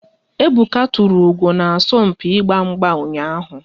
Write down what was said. Ebuka tụrụ ugo na asọmpi ịgba mgba ụnyaahụ